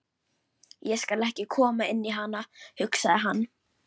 Ég skal ekki koma inn í hana, hugsaði hann.